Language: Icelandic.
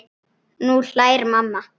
Nú hlær mamma.